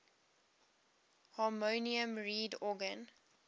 harmonium reed organ